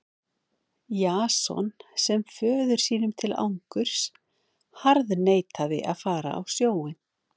Jason sem föður sínum til angurs harðneitaði að fara á sjóinn.